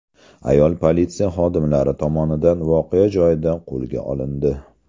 Ayol politsiya xodimlari tomonidan voqea joyida qo‘lga olindi.